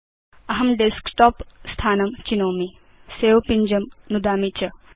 अहं डेस्कटॉप स्थानं चिनोमि सवे पिञ्जं नुदामि च